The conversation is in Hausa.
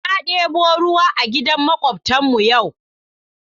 Na ɗebo ruwa a gidan maƙwabtan mu yau.